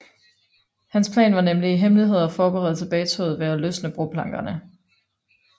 Hans plan var nemlig i hemmelighed at forberede tilbagetoget ved at løsne broplankerne